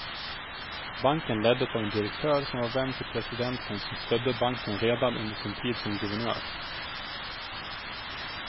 Banken leddes av en direktör som var vän till presidenten som stödde banken redan under sin tid som guvenör.